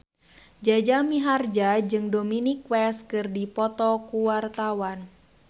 Jaja Mihardja jeung Dominic West keur dipoto ku wartawan